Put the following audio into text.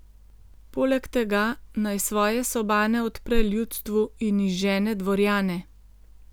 Poleg tega naj svoje sobane odpre ljudstvu in izžene dvorjane.